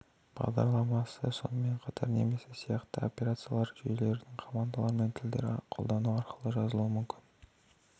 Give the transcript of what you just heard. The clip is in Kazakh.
бағдарламасы сонымен қатар немесе сияқты операциялық жүйелердің командалық тілдерін қолдану арқылы жазылуы мүмкін